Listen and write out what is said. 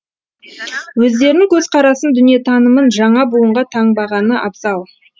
өздерінің көзқарасын дүниетанымын жаңа буынға таңбағаны абзал